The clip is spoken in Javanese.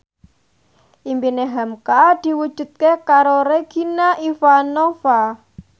impine hamka diwujudke karo Regina Ivanova